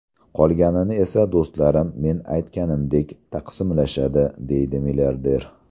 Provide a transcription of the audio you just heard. Qolganini esa do‘stlarim men aytganimdek taqsimlashadi”, deydi milliarder.